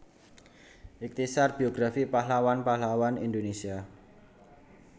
Ikhtisar Biografi Pahlawan Pahlawan Indonesia